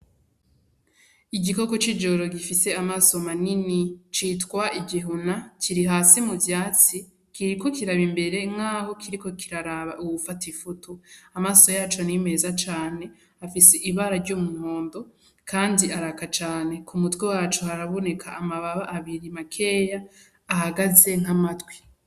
Igikoko c'ijoro gifise amaso manini citwa igihuna kiri hasi mu vyatsi kiriko kiraba imbere nk'aho kiriko kiraraba uwufata ifutu amaso yaco nimeza cane afise ibara ry'umunkondo, kandi araka cane ku mutwe wacu haraboneka amababa abiri makeya ahagaze nk'amatwi.